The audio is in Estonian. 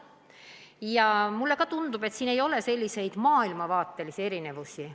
Ja mulle tundub, et siin ei ole maailmavaatelisi erinevusi.